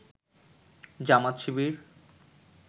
জামাত-শিবির